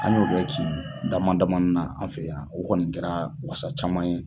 An y'o kɛ cɛn ye damadamanin na an fɛ yan o kɔni kɛra wasa caman ye.